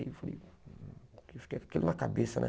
Eu fiquei com aquilo na cabeça, né?